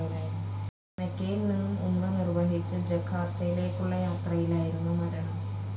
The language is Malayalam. മെക്കയിൽ നിന്നും ഉംറ നിർവഹിച്ചു ജക്കാർത്തയിലേക്കുളള യാത്രയിലായിരുന്നു മരണം.